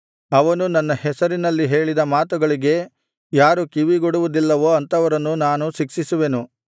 ಅವನು ನನ್ನ ಹೆಸರಿನಲ್ಲಿ ಹೇಳಿದ ಮಾತುಗಳಿಗೆ ಯಾರು ಕಿವಿಗೊಡುವದಿಲ್ಲವೋ ಅಂಥವರನ್ನು ನಾನು ಶಿಕ್ಷಿಸುವೆನು